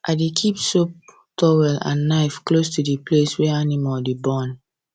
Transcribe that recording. i dey keep soap towel and knife close to the place wey animal dey born